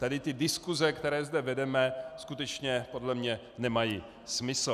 Tady ty diskuse, které zde vedeme, skutečně podle mě nemají smysl.